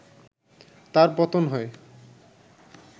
তার পতন হয়